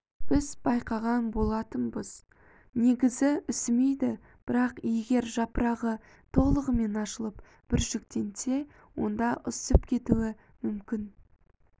біз байқаған болатынбыз негізі үсімейді бірақ егер жапырағы толығымен ашылып бүршіктенсе онда үсіп кетуі мүмкін